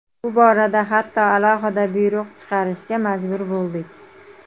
Bu borada hatto alohida buyruq chiqarishga majbur bo‘ldik.